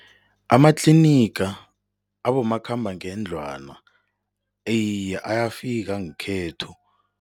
Amatliniga abomakhambangendlwana iye, ayafika ngekhethu.